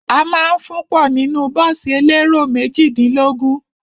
A ma ń fún ọ nínú bọ́ọ̀sì elérò méjìdínlógún.